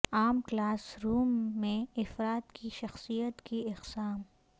عام classroom میں افراد کی شخصیت کی اقسام